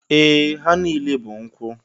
Ee! Ha niile bụ nkwụ.